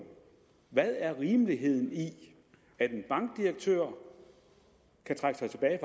hvad er rimeligheden i at en bankdirektør kan trække sig tilbage